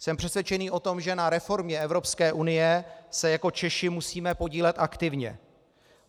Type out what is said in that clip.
Jsem přesvědčený o tom, že na reformě Evropské unie se jako Češi musíme podílet aktivně.